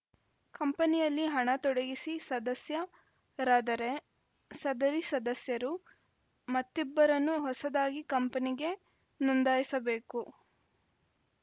ಕಂಪನಿಯಲ್ಲಿ ಹಣ ತೊಡಗಿಸಿ ಸದಸ್ಯರಾದರೆ ಸದರಿ ಸದಸ್ಯರು ಮತ್ತಿಬ್ಬರನ್ನು ಹೊಸದಾಗಿ ಕಂಪನಿಗೆ ನೊಂದಾಯಿಸಬೇಕು